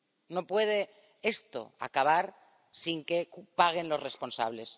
No puede esto acabar sin que paguen los responsables.